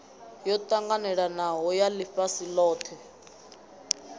yo ṱanganelanaho ya ḽifhasi ḽothe